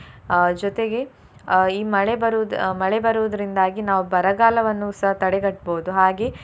ಅಹ್ ಜೊತೆಗೆ ಅಹ್ ಈ ಮಳೆ ಬರುದ್~ ಮಳೆ ಬರುವುದ್ರಿಂದಾಗಿ ನಾವು ಬರಗಾಲವನ್ನುಸ ತಡೆಗಟ್ಬೋದು ಹಾಗೆ.